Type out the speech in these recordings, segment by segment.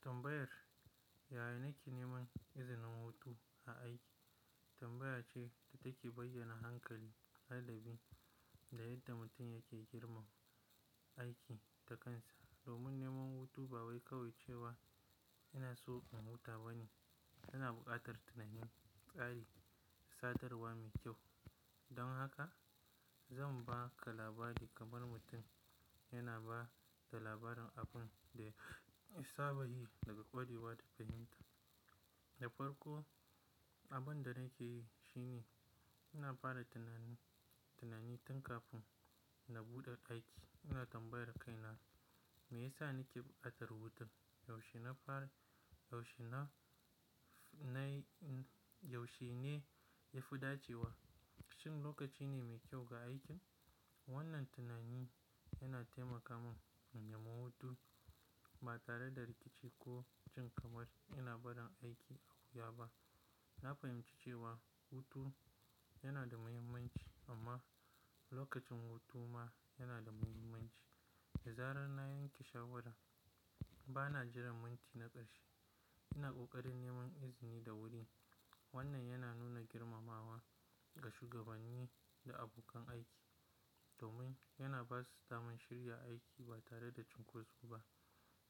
Tambayar, "Yaya na ke neman izinin hutu a aiki?" tambaya ce da take bayyana hankali, ladabi da yadda mutum yake girmama aiki da kansa. Domin neman hutu ba wai kawai cewa ina so in huta ba ne, yana buƙatar tunanin tsari da sadarwa mai kyau. Don haka zan ba ka labari kamar mutum yana ba da labarin abin da ya saba yi daga ƙwarewa da fahimta. Da farko, abin da na ke yi shine ina fara tunani, tunani tun kafin na buɗe aiki. Ina tambayar kaina, "Me yasa na ke buƙatar hutun? Yaushe na fara, yaushe na, na yi, yaushe ne ya fi dacewa? Shin lokaci ne mai kyau ga aikin?" Wannan tunani yana taimaka mun in nemi hutu ba tare da rikici ko jin kamar ina barin aiki a wuya ba. Na fahimci cewa hutu yana da muhimmanci amma lokacin hutu ma yana da muhimmanci. Da zarar na yanke shawara, ba na jiran minti na ƙarshe. Ina ƙoƙarin neman izini da wuri. Wannan yana nuna girmamawa ga shugabanni da abokan aiki domin yana ba su zaman shirya aiki ba tare da cunkoso ba.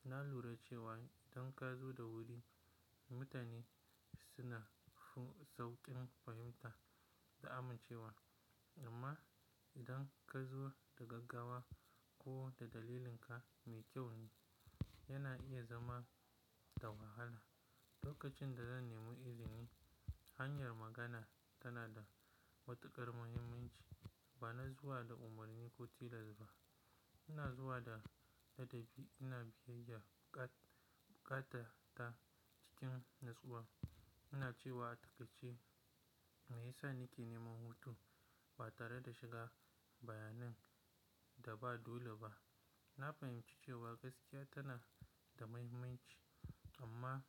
Na lura cewa idan ka zo da wuri, mutane suna sauƙin fahimta da amincewa amma idan ka zo da gaggawa ko da dalilinka mai kyau ne, yana iya zama da wahala. Lokacin da zan nemi izini, hanyar magana tana da matuƙar muhimmanci. Ba na zuwa da umarni ko tilas ba. Ina zuwa da ladabi, ina biyayya, buƙat, bukata ta cikin natsuwa. Ina cewa a taƙaice, "Me yasa na ke neman hutu?" ba tare da shiga bayanan da ba dole ba. Na fahimci cewa gaskiya tana da muhimmanci amma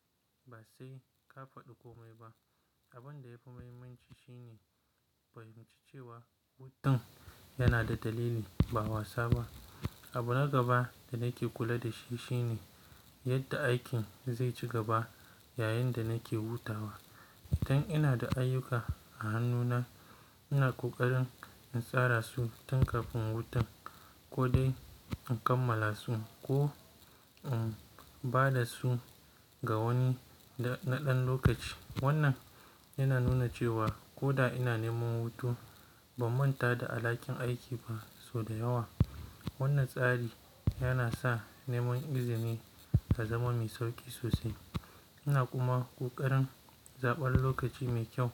ba sai ka faɗi komai ba. Abin da yafi muhimmanci shi ne fahimci cewa hutun yana da dalili ba wasa ba. Abu na gaba da na ke kula da shi shine yadda aikin zai ci gaba yayin da na ke hutawa. Idan ina da ayyuka a hannuna, ina ƙoƙarin in tsara su tun kafin hutun ko dai in kammala su ko in ba da su ga wani na ɗan lokaci. Wannan yana nuna cewa ko da ina neman hutu, ban manta da alhakin aiki ba sau da yawa. Wannan tsari yana sa neman izini ta zama mai sauƙi sosai. Ina kuma ƙoƙarin zaɓar lokaci mai kyau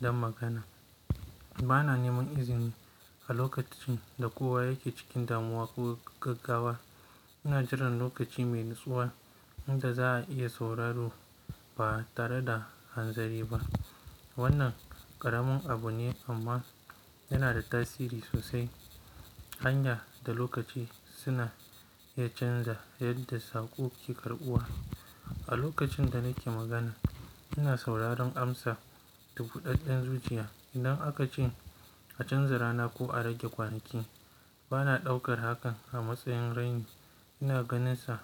don magana. Ba na neman izini a lokacin da kowa yake cikin damuwa ko gaggawa. Ina jiran lokaci mai natsuwa inda za'a iya sauraro ba tare da hanzari ba. Wannan ƙaramin abu ne amma yana da tasiri sosai. Hanya da lokaci suna iya canza yadda saƙo ke karɓuwa. A lokacin da na ke magana, ina sauraron amsa da buɗaɗɗen zuciya. Idan aka ce a canza rana ko a rage kwanaki, ba na ɗaukar hakan a matsayin raini. Ina ganinsa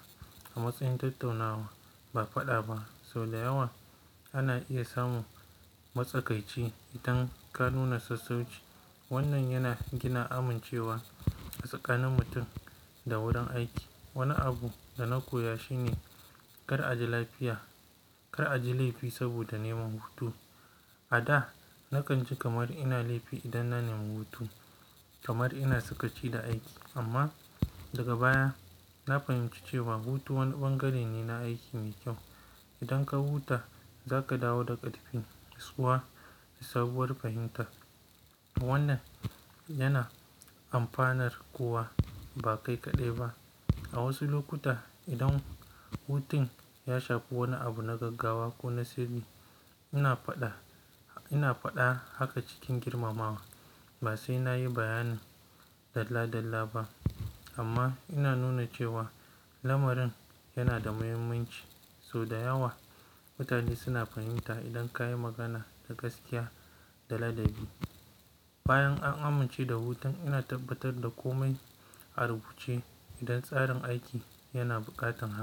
a matsayin tattaunawa ba faɗa ba. Sau da yawa ana iya samun matsakaici idan ka nuna sassauci. Wannan yana gina amincewa a tsakanin mutum da wurin aiki. Wani abu da na koya shi ne kar a ji lafiya, kar a ji laifi saboda neman hutu. A da na kan ji kamar ina laifi idan na nemi hutu kamar ina sakaci da aiki. Amma daga baya na fahimci cewa hutu wani ɓangare ne na aiki mai kyau. Idan ka huta za ka dawo da ƙarfi natsuwa da sabuwar fahimta. Wannan yana amfanar kowa ba kai kaɗai ba. A wasu lokuta idan hutun ya shafi wani abu na gaggawa ko na sirri, ina faɗa, ina faɗa haka cikin girmamawa ba sai na yi bayani dalla dalla ba amma ina nuna cewa lamarin yana da muhimmanci. Sau da yawa mutane suna fahimta idan ka yi magana da gaskiya da ladabi. Bayan an amince da hutun, ina tabbatar da komai a rubuce idan tsarin aiki yana buƙatan hak.